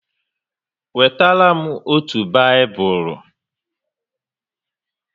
Wetara m otu Baịbụl!